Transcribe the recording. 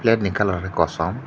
plate ni colour ke kosom.